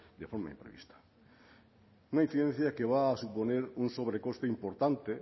de forma imprevista una incidencia que va a suponer un sobrecoste importante